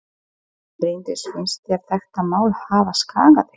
Bryndís: Finnst þér þetta mál hafa skaðað þig?